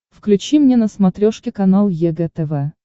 включи мне на смотрешке канал егэ тв